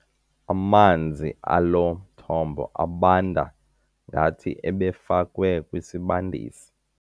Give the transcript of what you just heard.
Amanzi alo mthombo abanda ngathi ebefakwe kwisibandisi.